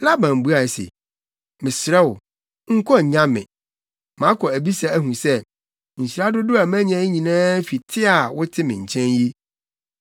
Laban buae se, “Mesrɛ wo, nkɔ nnya me. Makɔ abisa ahu sɛ, nhyira dodow a manya yi nyinaa fi te a wote me nkyɛn yi.”